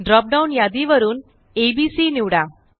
drop downयादी वरून abसी निवडा